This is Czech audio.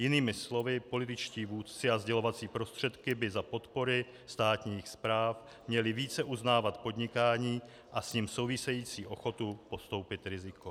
Jinými slovy, političtí vůdci a sdělovací prostředky by za podpory státních správ měli více uznávat podnikání a s ním související ochotu podstoupit riziko.